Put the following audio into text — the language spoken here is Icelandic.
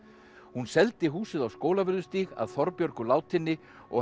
hún seldi húsið á Skólavörðustíg að Þorbjörgu látinni og